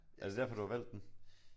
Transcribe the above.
Er det derfor du har valgt den?